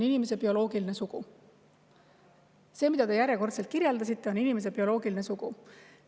See, mida teie järjekordselt kirjeldasite, on inimese bioloogiline sugu.